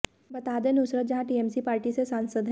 बता दें Nusrat Jahan TMC party से सांसद हैं